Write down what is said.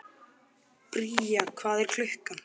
Bría, hvað er klukkan?